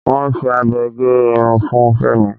Wọ́n fi abẹ gé irun fun Fémi.